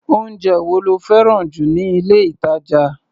Oúnjẹ wo lo fẹ́ràn jù ní ilé-ìtàjà?